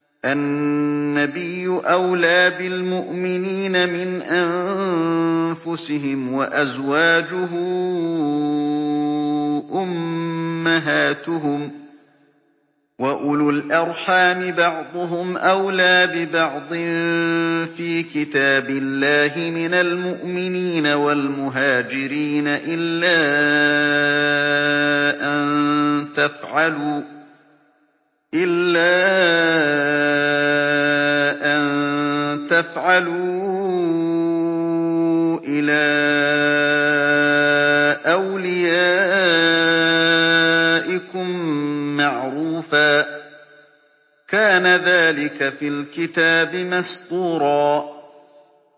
النَّبِيُّ أَوْلَىٰ بِالْمُؤْمِنِينَ مِنْ أَنفُسِهِمْ ۖ وَأَزْوَاجُهُ أُمَّهَاتُهُمْ ۗ وَأُولُو الْأَرْحَامِ بَعْضُهُمْ أَوْلَىٰ بِبَعْضٍ فِي كِتَابِ اللَّهِ مِنَ الْمُؤْمِنِينَ وَالْمُهَاجِرِينَ إِلَّا أَن تَفْعَلُوا إِلَىٰ أَوْلِيَائِكُم مَّعْرُوفًا ۚ كَانَ ذَٰلِكَ فِي الْكِتَابِ مَسْطُورًا